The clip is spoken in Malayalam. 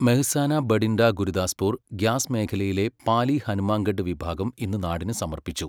മെഹ്സാന ബഠിണ്ഡ ഗുരുദാസ്പുർ ഗ്യാസ് മേഖലയിലെ പാലി ഹനുമാൻഗഢ് വിഭാഗം ഇന്ന് നാടിനു സമർപ്പിച്ചു.